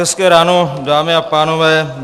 Hezké ráno, dámy a pánové.